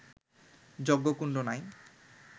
যজ্ঞকুণ্ড নাই